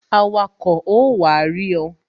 Awako ó wá rí ọ